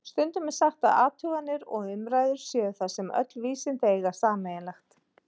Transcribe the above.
Stundum er sagt að athuganir og umræður séu það sem öll vísindi eiga sameiginlegt.